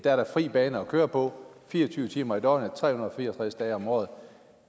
er fri bane at køre på fire og tyve timer i døgnet tre hundrede og fire og tres dage om året